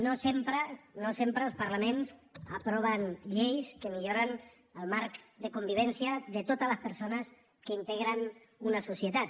no sempre no sempre els parlaments aproven lleis que milloren el marc de convivència de totes les persones que integren una societat